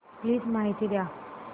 please माहिती द्या